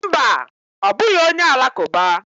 Mba, ọ bụghị onye Alakụba.